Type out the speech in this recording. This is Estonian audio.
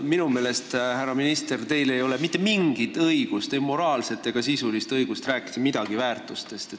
Minu meelest ei ole teil, härra minister, mitte mingit õigust – ei moraalset ega sisulist õigust – rääkida midagi väärtustest.